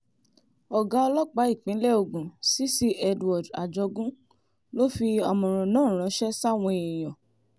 ọ̀gá ọlọ́pàá ìpínlẹ̀ ogun cc edward ajogun ló fi àmọ̀ràn náà ránṣẹ́ sáwọn èèyàn